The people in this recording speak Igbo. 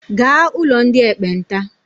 Gaa ụlọ ndị ekpenta!